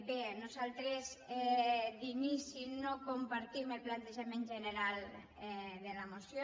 bé nosaltres d’inici no compartim el plantejament general de la moció